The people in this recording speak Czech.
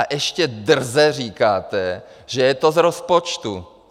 A ještě drze říkáte, že je to z rozpočtu!